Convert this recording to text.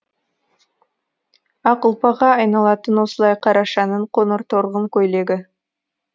ақ ұлпаға айналатын осылай қарашаның қоңыр торғын көйлегі